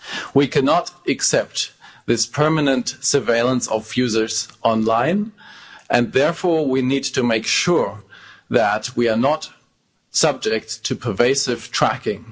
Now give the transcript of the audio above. We cannot accept this permanent surveillance of users online, and therefore we need to make sure that we are not subject to pervasive tracking.